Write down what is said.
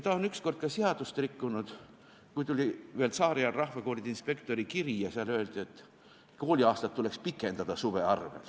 Ta on üks kord ka seadust rikkunud, kui tuli ühelt tsaariaja rahvakoolide inspektorilt kiri ja seal öeldi, et kooliaastat tuleks pikendada suve arvel.